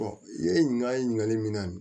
i ye ɲinali min na